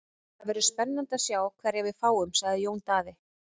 Það verður spennandi að sjá hverja við fáum, sagði Jón Daði.